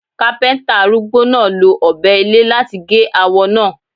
Kápẹ́ńtà arúgbó náà lo Ọ̀bẹ ilé láti gé awọ náà.